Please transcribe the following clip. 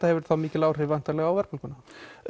hefur mikil áhrif á verðbólguna